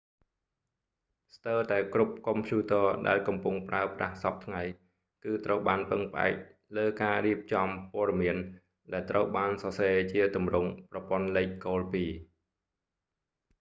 ស្ទើរតែគ្រប់កុំព្យូរទ័រដែលកំពុងប្រើប្រាស់សព្វថ្ងៃគឺត្រូវបានពឹងផ្អែកលើការរៀបចំព័ត៌មានដែលត្រូវបានសរសេរជាទម្រង់ប្រព័ន្ធលេខគោលពីរ